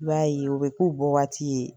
I b'a ye o bɛ k'o bɔ waati ye.